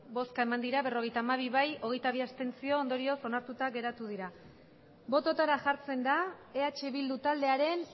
bai berrogeita hamabi abstentzioak hogeita bi ondorioz onartuta geratu dira bototara jartzen da eh bildu taldearen